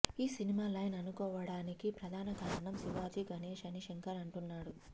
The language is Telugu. ఈ సినిమా లైన్ అనుకోవడానికి ప్రధాన కారణం శివాజీ గణేష్ అని శంకర్ అంటున్నాడు